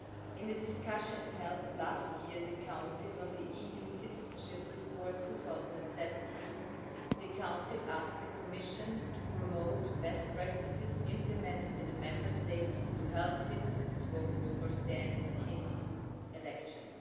In the discussion held last year in the Council on the EU citizenship report 2017, the Council asked the Commission to promote best practices implemented in the Member States to help citizens vote or stand in EU elections.